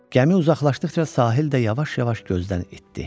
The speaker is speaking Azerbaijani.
Gəmi uzaqlaşdıqca sahil də yavaş-yavaş gözdən itdi.